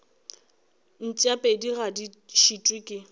mpšapedi ga di šitwe ke